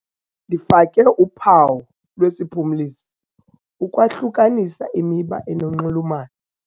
Ndifake uphawu lwesiphumlisi ukwahlukanisa imiba enonxulumano.